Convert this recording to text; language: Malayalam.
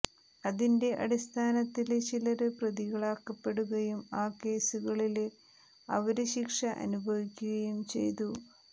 അതിന്റെ അടിസ്ഥാത്തില് ചിലര് പ്രതികളാക്കപ്പെടുകയും ആ കേസുകളില് അവര് ശിക്ഷ അനുഭവിക്കുകയും ചെയ്തു